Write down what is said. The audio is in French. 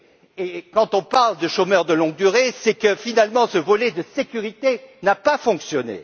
Et quand on parle de chômeurs de longue durée, c'est que finalement ce volet de sécurité n'a pas fonctionné.